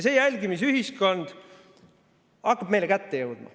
See jälgimisühiskond hakkab meile kätte jõudma.